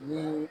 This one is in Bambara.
Ni